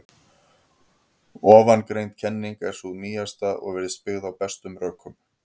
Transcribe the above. Ofangreind kenning er sú nýjasta og virðist byggð á bestum rökum.